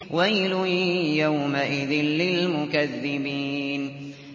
وَيْلٌ يَوْمَئِذٍ لِّلْمُكَذِّبِينَ